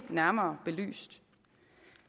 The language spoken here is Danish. nærmere belyst